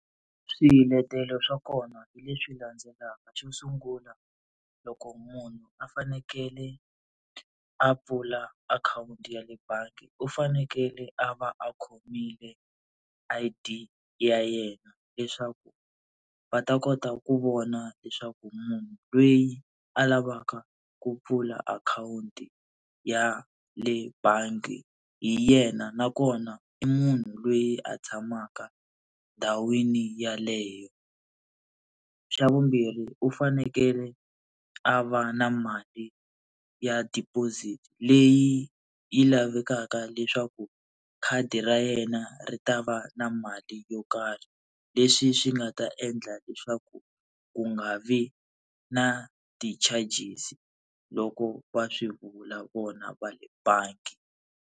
Swiletelo swa kona hi leswi landzelaka xo sungula, loko munhu a fanekele a pfula akhawunti ya le bangi u fanekele a va a khomile I_D ya yena leswaku va ta kota ku vona leswaku munhu loyi a lavaka ku pfula akhawunti ya le bangi hi yena nakona i munhu loyi a tshamaka endhawini yeleyo. Xa vumbirhi u fanekele a va na mali ya deposit leyi yi lavekaka leswaku khadi ra yena ri ta va na na mali yo karhi, leswi swi nga ta endla leswaku ku nga vi na ti-charges-i loko va swi vula vona va le bangi.